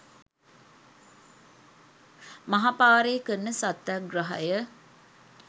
මහ පාරේ කරන සත්‍යග්‍රහය